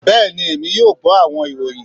bẹẹni Emi yoo gbọ awọn iroyin